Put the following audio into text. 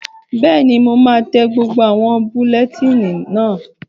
Bẹ́ẹ̀ni, mo máa tẹ gbogbo àwọn bulẹtíìnì náà